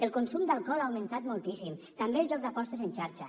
el consum d’alcohol ha augmentat moltíssim també el joc d’apostes en xarxa